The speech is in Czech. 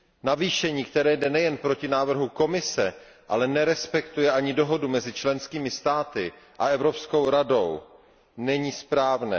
Navýšení, které jde nejen proti návrhu Komise, ale nerespektuje ani dohodu mezi členskými státy a Evropskou radou, není správné.